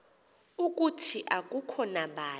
ukuthi akukho bani